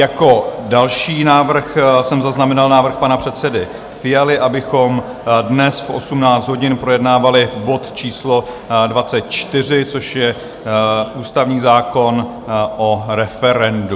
Jako další návrh jsem zaznamenal návrh pana předsedy Fialy, abychom dnes v 18 hodin projednávali bod číslo 24, což je ústavní zákon o referendu.